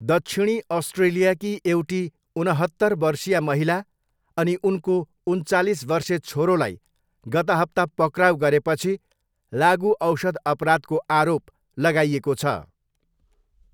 दक्षिणी अस्ट्रेलियाकी एउटी उनहत्तर वर्षीया महिला अनि उनको उन्चालिस वर्षे छोरोलाई गत हप्ता पक्राउ गरेपछि लागुऔषध अपराधको आरोप लगाइएको छ।